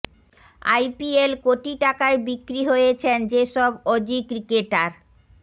IPL কোটি টাকায় বিক্রি হয়েছেন যে সব অজি ক্রিকেটার